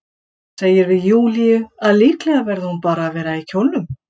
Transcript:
Segir við Júlíu að líklega verði hún bara að vera í kjólnum.